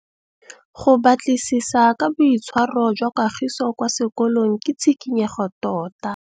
Go batlisisa ka boitshwaro jwa Kagiso kwa sekolong ke tshikinyêgô tota.